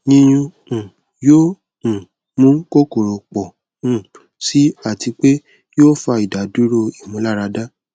yiyun um yoo um mu kokoro pọ um si ati pe yoo fa idaduro imularada